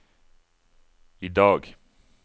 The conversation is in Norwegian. idag